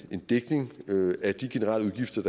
dækning af de generelle